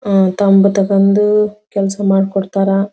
ಅಹ್ ತಂಬು ತಕೊಂಡು ಕೆಲಸ ಮಾಡ್ ಕೊಡ್ತಾರಾ.